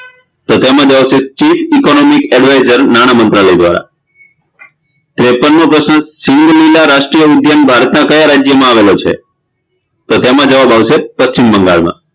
તો તેનો જવાબ આવશે chief economic advisor નાણામંત્રાલય દ્વારા ત્રેપનમો પ્રશ્ન શીલીલા રાષ્ટ્રીય વિધયાંગ ભારતના કયા રાજ્યમાં આવેલો છે તો તેમ જવાબ આવશે પશ્ચિમબંગાળમાં